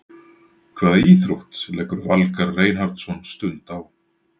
Hvaða íþrótt leggur Valgarð Reinhardsson stund á?